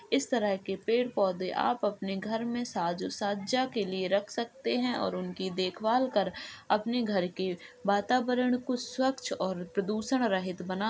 इस तरह के पेड़ पौधे आप अपने घर में साजो-सज्जा के लिए रख सकते हैं और उनकी देखभाल कर अपने घर के वातावरण को स्वच्छ और प्रदूषण रहित बना --